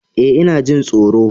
Eh ina jin tsoro.